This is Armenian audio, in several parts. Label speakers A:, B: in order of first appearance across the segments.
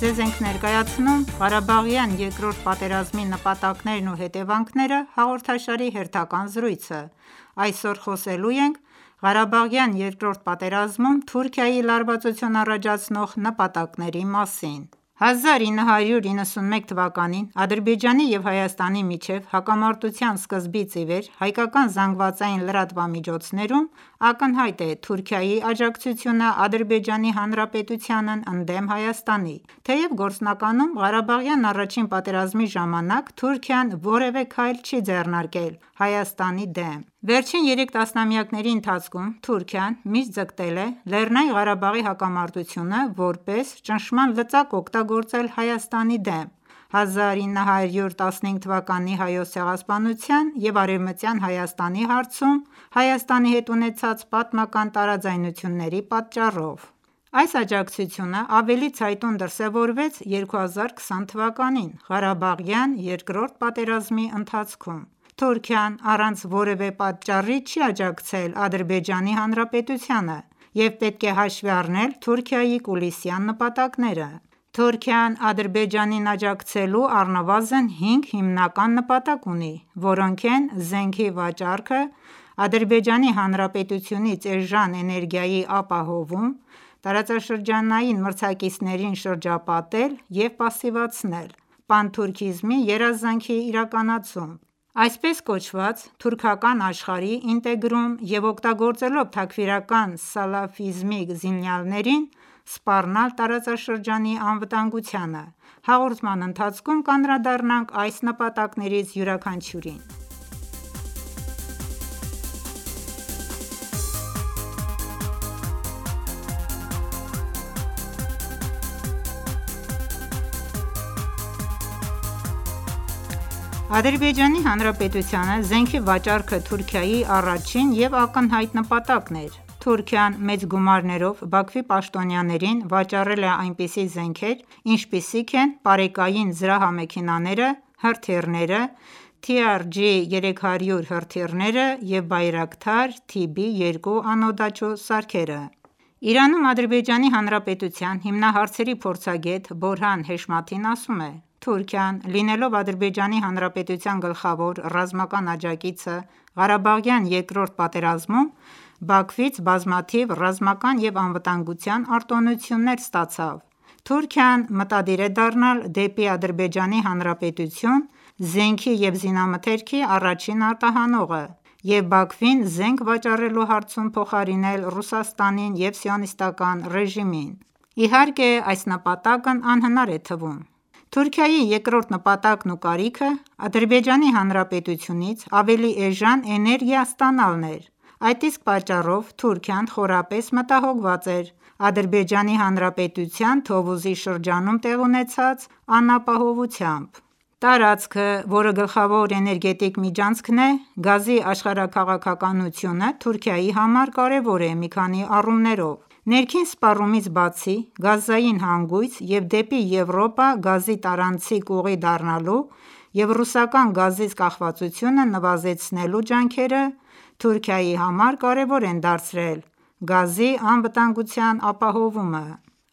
A: Ձեզ ենք ներկայացնում «Ղարաբաղյան երկրորդ պատերազմի նպատակներն ու հետևանքները» հաղորդաշարի հերթական զրույցը: Այսօր խոսելու ենք ղարաբաղյան երկրորդ պատերազմում Թուրքիայի լարվածություն առաջացնող նպատակների մասին: 1991 թվականին Ադրբեջանի և Հայաստանի միջև հակամարտության սկզբից ի վեր, հայկական ԶԼՄ-ներում ակնհայտ է Թուրքիայի աջակցությունը Ադրբեջանի Հանրապետությանն ընդդեմ Հայաստանի, թեև գործնականում Ղարաբաղյան առաջին պատերազմի ժամանակ Թուրքիան որևէ քայլ չի ձեռնարկել Հայաստանի դեմ։ Վերջին երեք տասնամյակների ընթացքում Թուրքիան միշտ ձգտել է Լեռնային Ղարաբաղի հակամարտությունը որպես ճնշման լծակ օգտագործել Հայաստանի դեմ՝ 1915 թվականի Հայոց ցեղասպանության և «Արևմտյան Հայաստանի» հարցում Հայաստանի հետ ունեցած պատմական տարաձայնությունների պատճառով։ Այս աջակցությունն ավելի ցայտուն դրսևորվեց 2020թ. ղարաբաղյան երկրորդ պատերազմի ընթացքում: Թուրքիան առանց որևէ պատճառի չի աջակցել Ադրբեջանի Հանրապետությանը, և պետք է հաշվի առնել Թուրքիայի կուլիսային նպատակները։ Թուրքիան Ադրբեջանին աջակցելու առնվազն 5 հիմնական նպատակ ունի, որոնք են՝ զենքի վաճառքը, Ադրբեջանի Հանրապետությունից էժան էներգիայի ապահովում, տարածաշրջանային մրցակիցներին շրջապատել և պասիվացնել, պանթուրքիզմի երազանքի իրականացում, այսպես կոչված թուրքական աշխարհի ինտեգրում և օգտագործելով թաքֆիրական սալաֆիզմի զինյալներին սպառնալ տարածաշրջանի անվտանգությանը։ Հաղորդման ընթացքում կանդրադառնանք այս նպատակներից յուրաքանչյուրին։ Թուրքիայի և Հայաստանի միջև սրվում է առճակատումը Ադրբեջանի Հանրապետությանը զենքի վաճառքը Թուրքիայի առաջին և ակնհայտ նպատակն էր։ Թուրքիան մեծ գումարներով Բաքվի պաշտոնյաներին վաճառել է այնպիսի զենքեր, ինչպիսիք են պարեկային զրահամեքենաները, հրթիռները, TRG-300 հրթիռները և Bayraktar-TB2 անօդաչու սարքերը։ Իրանում Ադրբեջանի Հանրապետության հիմնահարցերի փորձագետ Բորհան Հեշմաթին ասում է. «Թուրքիան, լինելով Ադրբեջանի Հանրապետության գլխավոր ռազմական աջակիցը Ղարաբաղյան Երկրորդ պատերազմում, Բաքվից բազմաթիվ ռազմական և անվտանգության արտոնություններ ստացավ։ Թուրքիան մտադիր է դառնալ դեպի Ադրբեջանի Հանրապետություն զենքի և զինամթերքի առաջին արտահանողը և Բաքվին զենք վաճառելու հարցում փոխարինել Ռուսաստանին և Սիոնիստական ​​ռեժիմին։ Իհարկե, այս նպատակն անհնար է թվում»: Թուրքիայի երկրորդ նպատակն ու կարիքը Ադրբեջանի Հանրապետությունից ավելի էժան էներգիա ստանալն էր։ Այդ իսկ պատճառով Թուրքիան խորապես մտահոգված էր Ադրբեջանի Հանրապետության Թովուզի շրջանում տեղի ունեցած անապահովությամբ։ Տարածքը, որը գլխավոր էներգետիկ միջանցքն է։ Գազի աշխարհաքաղաքականությունը Թուրքիայի համար կարևոր է մի քանի առումներով. Ներքին սպառումից բացի, գազային հանգույց և դեպի Եվրոպա գազի տարանցիկ ուղի դառնալու և ռուսական գազից կախվածությունը նվազեցնելու ջանքերը Թուրքիայի համար կարևոր են դարձրել գազի անվտանգության ապահովումը: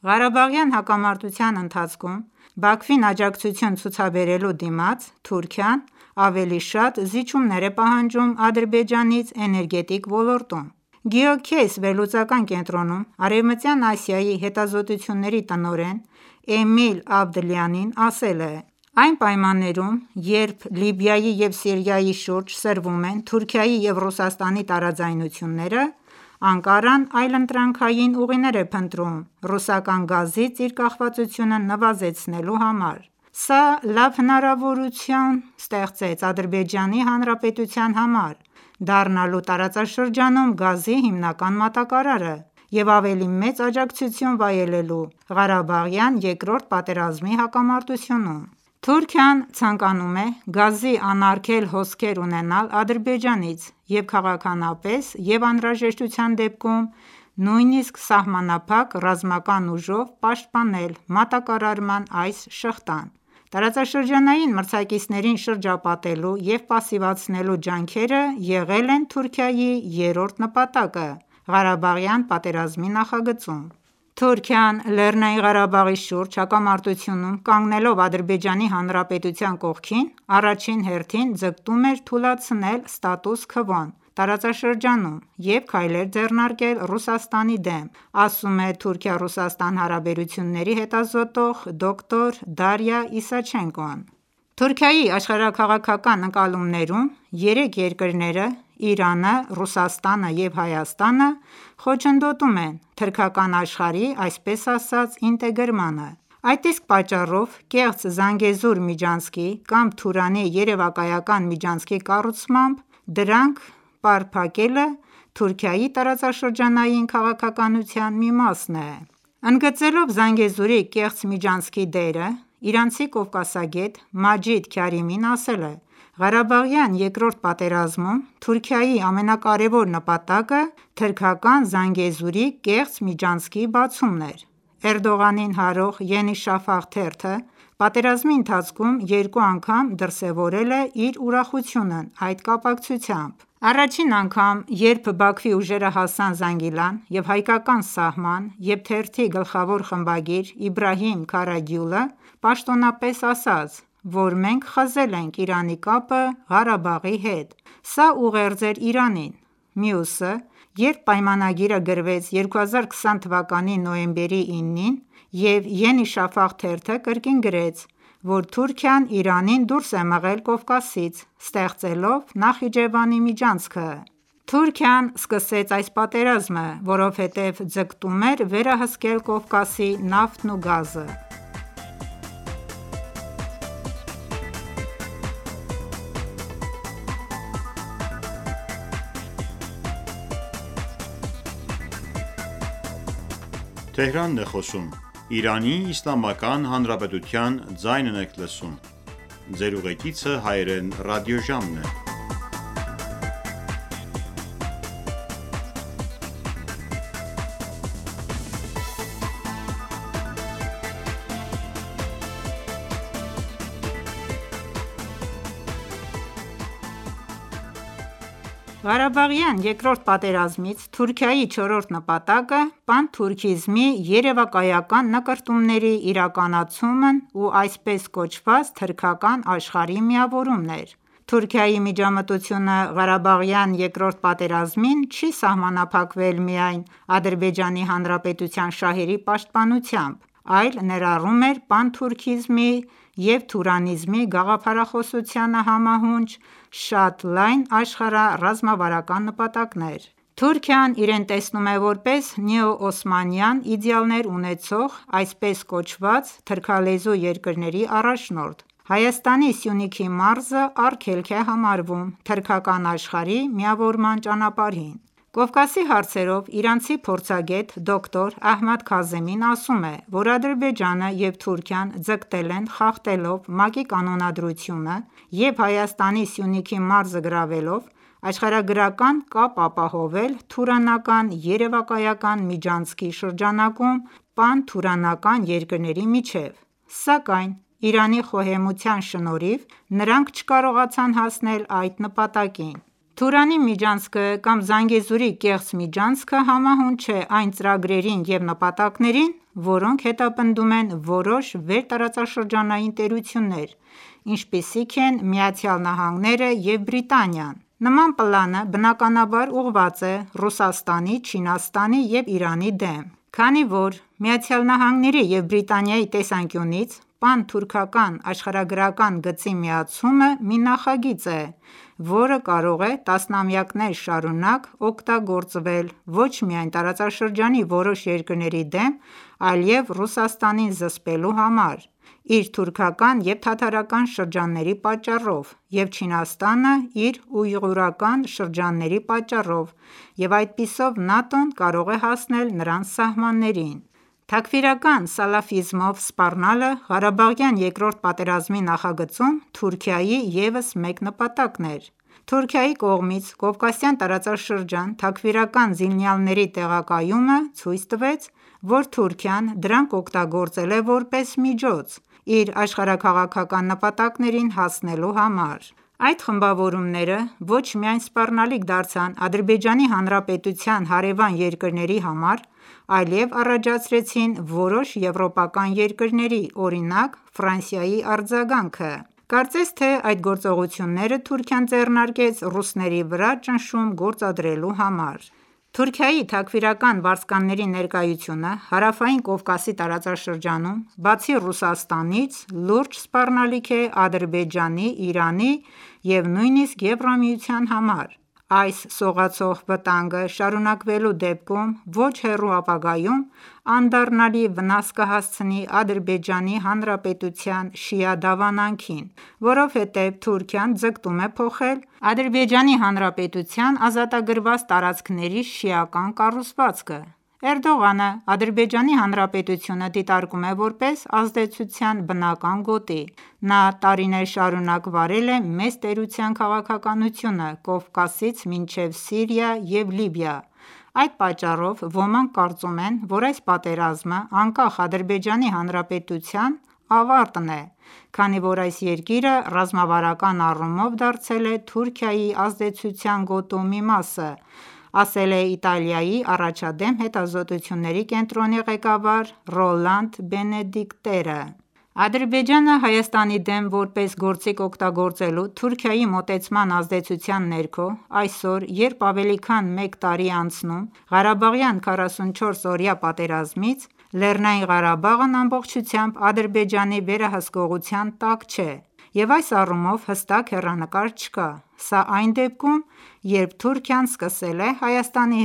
A: Ղարաբաղյան հակամարտության ընթացքում Բաքվին աջակցություն ցուցաբերելու դիմաց, Թուրքիան ավելի շատ զիջումներ է պահանջում Ադրբեջանից էներգետիկ ոլորտում: Geocase վերլուծական կենտրոնում Արևմտյան Ասիայի հետազոտությունների տնօրեն Էմիլ Ավդլիանին ասել է.«Այն պայմաններում, երբ Լիբիայի և Սիրիայի շուրջ սրվում են Թուրքիայի և Ռուսաստանի տարաձայնությունները, Անկարան այլընտրանքային ուղիներ է փնտրում ռուսական գազից իր կախվածությունը նվազեցնելու համար: Սա լավ հնարավորություն ստեղծեց Ադրբեջանի Հանրապետության համար՝ դառնալու տարածաշրջանում գազի հիմնական մատակարարը և ավելի մեծ աջակցություն վայելելու Ղարաբաղյան Երկրորդ պատերազմի հակամարտությունում։ Թուրքիան ցանկանում է գազի անարգել հոսքեր ունենալ Ադրբեջանից և քաղաքականապես և անհրաժեշտության դեպքում նույնիսկ սահմանափակ ռազմական ուժով պաշտպանել մատակարարման այս շղթան: Տարածաշրջանային մրցակիցներին շրջապատելու և պասիվացնելու ջանքերը եղել են Թուրքիայի երրորդ նպատակը Ղարաբաղյան պատերազմի նախագծում: «Թուրքիան, Լեռնային Ղարաբաղի շուրջ հակամարտությունում կանգնելով Ադրբեջանի Հանրապետության կողքին, առաջին հերթին ձգտում էր թուլացնել ստատուս քվոն տարածաշրջանում և քայլեր ձեռնարկել Ռուսաստանի դեմ», - ասում է Թուրքիա-Ռուսաստան հարաբերությունների հետազոտող, դոկտոր Դարիա Իսաչենկոն: Թուրքիայի աշխարհաքաղաքական ընկալումներում երեք երկրները՝ Իրանը, Ռուսաստանը եւ Հայաստանը խոչընդոտում են թուրքական աշխարհի այսպես ասած ինտեգրմանը։ Այդ իսկ պատճառով կեղծ Զանգեզուր միջանցքի կամ Թուրանի երևակայական միջանցքի կառուցմամբ դրանք պարփակելը Թուրքիայի տարածաշրջանային քաղաքականության մի մասն է: Ընդգծելով Զանգեզուրի կեղծ միջանցքի դերը, իրանցի կովկասագետ՝ Մաջիդ Քարիմին ասել է.«Ղարաբաղյան երկրորդ պատերազմում Թուրքիայի ամենակարևոր նպատակը թուրքական Զանգեզուրի կեղծ միջանցքի բացումն էր։ Էրդողանին հարող «Ենի Շաֆաղ» թերթը պատերազմի ընթացքում երկու անգամ դրսևորել է իր ուրախությունն այդ կապակցությամբ: Առաջին անգամ, երբ Բաքվի ուժերը հասան Զանգիլան և հայկական սահման, և թերթի գլխավոր խմբագիր Իբրահիմ Քարագյուլը պաշտոնապես ասաց, որ մենք խզել ենք Իրանի կապը Ղարաբաղի հետ: Սա ուղերձ էր Իրանին։ Մյուսը, երբ պայմանագիրը գրվեց 2020 թվականի նոյեմբերի 9-ին, և «Ենի Շաֆաղ» թերթը կրկին գրեց, որ Թուրքիան Իրանին դուրս է մղել Կովկասից՝ ստեղծելով Նախիջևանի միջանցքը։ Թուրքիան սկսեց այս պատերազմը, որովհետև ձգտում էր վերահսկել Կովկասի նավթն ու գազը»։ Ղարաբաղյան Երկրորդ պատերազմից Թուրքիայի չորրորդ նպատակը պանթուրքիզմի երեւակայական նկրտումների իրականացումն ու այսպես կոչված թուրքական աշխարհի միավորումն էր։ Թուրքիայի միջամտությունը Ղարաբաղյան Երկրորդ պատերազմին չի սահմանափակվել միայն Ադրբեջանի Հանրապետության շահերի պաշտպանությամբ, այլ ներառում էր պանթուրքիզմի և թուրանիզմի գաղափարախոսությանը համահունչ շատ լայն աշխարհառազմավարական նպատակներ։ Թուրքիան իրեն տեսնում է որպես նեոօսմանյան իդեալներ ունեցող, այսպես կոչված թուրքալեզու երկրների առաջնորդ։ Հայաստանի Սյունիքի մարզը արգելք է համարվում թուրքական աշխարհի միավորման ճանապարհին: Կովկասի հարցերով իրանցի փորձագետ` դոկտոր Ահմադ Քազեմին ասում է, որ Ադրբեջանը և Թուրքիան ձգտել են խախտելով ՄԱԿ-ի կանոնադրությունը և Հայաստանի Սյունիքի մարզը գրավելով, աշխարհագրական կապ ապահովել Թուրանական երևակայական միջանցքի շրջանակում պանթուրանական երկրների միջև: Սակայն Իրանի խոհեմության շնորհիվ նրանք չկարողացան հասնել այդ նպատակին։ Թուրանի միջանցքը կամ Զանգեզուրի կեղծ միջանցքը համահունչ է այն ծրագրերին և նպատակներին, որոնք հետապնդում են որոշ վերտարածաշրջանային տերություններ, ինչպիսիք են Միացյալ Նահանգները և Բրիտանիան: Նման պլանը բնականաբար ուղղված է Ռուսաստանի, Չինաստանի և Իրանի դեմ։ Քանի որ ԱՄՆ-ի և Բրիտանիայի տեսանկյունից պանթուրքական աշխարհագրական գծի միացումը մի նախագիծ է, որը կարող է տասնամյակներ շարունակ օգտագործվել ոչ միայն տարածաշրջանի որոշ երկրների դեմ, այլև Ռուսաստանին զսպելու համար՝ իր թուրքական և թաթարական շրջանների պատճառով, և Չինաստանը՝ իր ույղուրական շրջանների պատճառով և այդպիսով ՆԱՏՕ-ն կարող է հասնել նրանց սահմաններին»: Թաքֆիրական սալաֆիզմով սպառնալը ղարաբաղյան երկրորդ պատերազմի նախագծում Թուրքիայի ևս մեկ նպատակն էր։ Թուրքիայի կողմից Կովկասյան տարածաշրջան թաքֆիրական զինյալների տեղակայումը ցույց տվեց, որ Թուրքիան դրանք օգտագործել է որպես միջոց իր աշխարհաքաղաքական նպատակներին հասնելու համար։ Այդ խմբավորումները ոչ միայն սպառնալիք դարձան Ադրբեջանի Հանրապետության հարեւան երկրների համար, այլեւ առաջացրին որոշ եվրոպական երկրների, օրինակ՝ Ֆրանսիայի արձագանքը։ Կարծես թե այդ գործողությունները Թուրքիան ձեռնարկեց ռուսների վրա ճնշում գործադրելու համար։ Թուրքիայի թաքֆիրական վարձկանների ներկայությունը Հարավային Կովկասի տարածաշրջանում, բացի Ռուսաստանից, լուրջ սպառնալիք է Ադրբեջանի, Իրանի և նույնիսկ Եվրամիության համար։ Այս սողացող վտանգը, շարունակվելու դեպքում, ոչ հեռու ապագայում անդառնալի վնաս կհասցնի Ադրբեջանի Հանրապետության շիա դավանանքին։ Որովհետեւ Թուրքիան ձգտում է փոխել Ադրբեջանի Հանրապետության ազատագրված տարածքների շիական կառուցվածքը։ Թուրքիան որպես գործիք է օգտագործում Ադրբեջանին «Էրդողանը Ադրբեջանի Հանրապետությունը դիտարկում է որպես ազդեցության բնական գոտի; Նա տարիներ շարունակ վարել է մեծ տերության քաղաքականությունը Կովկասից մինչև Սիրիա և Լիբիա։ Այդ պատճառով ոմանք կարծում են, որ այս պատերազմը անկախ Ադրբեջանի Հանրապետության ավարտն է, քանի որ այս երկիրը ռազմավարական առումով դարձել է Թուրքիայի ազդեցության գոտու մի մասը»,- ասել է Իտալիայի առաջադեմ հետազոտությունների կենտրոնի ղեկավար Ռոլանդ Բենեդիկտերը։ ։ Ադրբեջանը Հայաստանի դեմ որպես գործիք օգտագործելու Թուրքիայի մոտեցման ազդեցության ներքո, այսօր երբ ավելի քան մեկ տարի է անցնում Ղարաբաղյան 44-օրյա պատերազմից, Լեռնային Ղարաբաղն ամբողջությամբ Ադրբեջանի վերահսկողության տակ չէ, և այս առումով հստակ հեռանկար չկա։ Սա այն դեպքում, երբ Թուրքիան սկսել է Հայաստանի